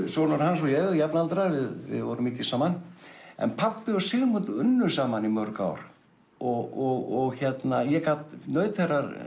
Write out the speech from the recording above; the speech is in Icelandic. sonur hans og ég erum jafnaldrar við vorum mikið saman en pabbi og Sigmund unnu saman í mörg ár og ég naut